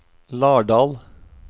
Lardal